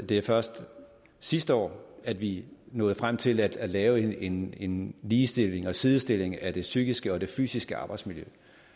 det er først sidste år at vi nåede frem til at lave en en ligestilling og sidestilling af det psykiske og det fysiske arbejdsmiljø